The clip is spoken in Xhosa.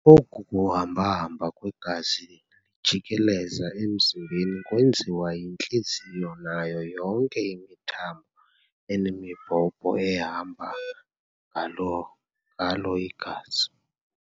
Oku kuhamba-hamba kwegazi lijikeleza emzimbeni kwenziwa yintliziyo nayo yonke imithambo enemibhobho ehamba ngalo igazi.